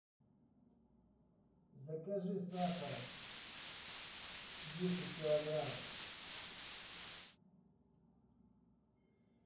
закажи сахара десять килограмм